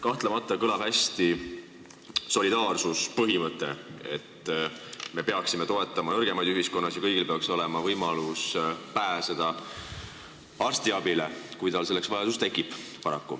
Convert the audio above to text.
Kahtlemata kõlab solidaarsuspõhimõte hästi: me peaksime toetama nõrgemaid ühiskonnas ja kõigil peaks olema võimalus saada arstiabi, kui selleks vajadus tekib.